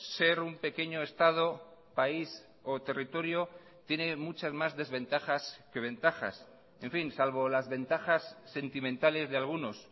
ser un pequeño estado país o territorio tiene muchas más desventajas que ventajas en fin salvo las ventajas sentimentales de algunos